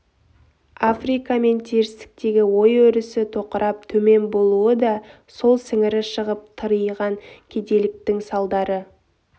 африка мен терістіктегі ой өрісі тоқырап төмен болуы да сол сіңірі шығып тыриған кедейліктің салдары